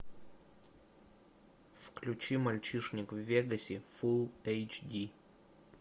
включи мальчишник в вегасе фул эйч ди